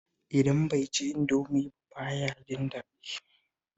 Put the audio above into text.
Idan bai ci Indomi ba ba ya jin daɗi